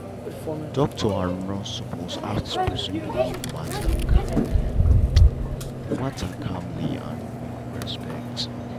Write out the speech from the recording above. doctor and nurse suppose ask person belief matter calmly matter calmly and with respect.